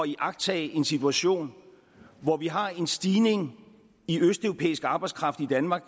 iagttage en situation hvor vi har en stigning i østeuropæisk arbejdskraft i danmark